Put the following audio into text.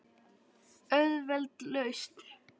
Auðveld lausn.